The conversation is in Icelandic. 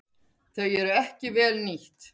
Þau eru ekki vel nýtt.